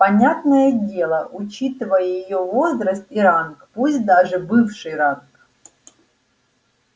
понятное дело учитывая её возраст и ранг пусть даже бывший ранг